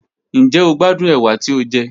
Njẹ o gbadun ewa ti o jẹ?